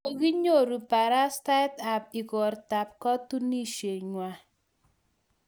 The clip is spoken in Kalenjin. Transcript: kokinyoru barastaet ab igorta ab katunishengwai